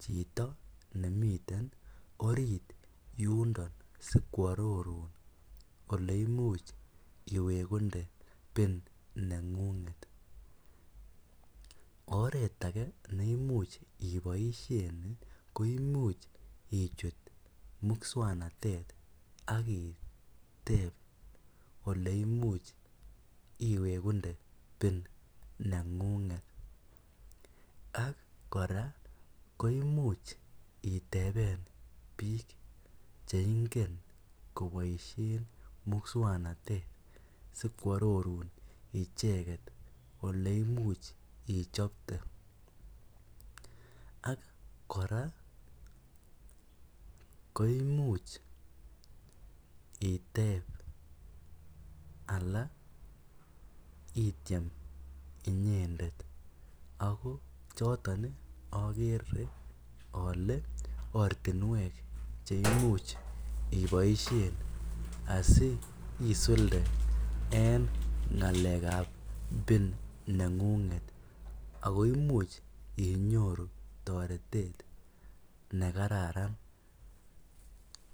chitoo nemii yuun ndo sikwa aroruun ole imuuch iwekundee pin nengunget oret age neimuuch iboisien ko imuuch ichuut musangnatet ak iteeb ole imuuch iwegundee pin nengunget ak kora koimuuch itebeen biik che ingen kobaisheen musangnatet sikwaaroruun ichegeet ole imuuch ichapte ak kora ii koimuuch iteeb anan ityem inyended ako chotoon agere ale ortinweek che imuuch iboisien asi isuldee en ngalek ab pin nengunget ako imuuch inyoruu taretet ne kararan.